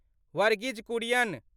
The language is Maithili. वर्गीज कुरियन